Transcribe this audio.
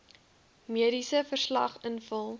mediese verslag invul